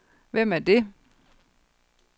Hvem er det